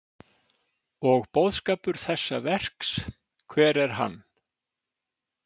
Og boðskapur þessa verks, hver er hann?